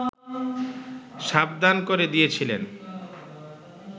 সাবধান করে দিয়েছিলেন